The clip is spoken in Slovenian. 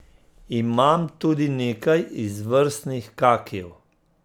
Imam tudi nekaj izvrstnih kakijev.